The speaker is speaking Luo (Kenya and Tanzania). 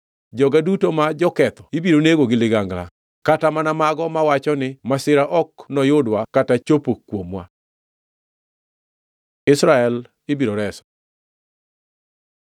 Joga duto ma joketho ibiro nego gi ligangla, kata mana mago mawacho ni, ‘Masira ok noyudwa kata chopo kuomwa.’ Israel ibiro reso